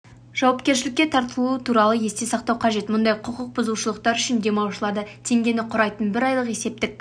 жауапкершілікке тартылуы туралы есте сақтау қажет мұндай құқықбұзушылықтар үшін демалушыларды теңгені құрайтын бір айлық есептік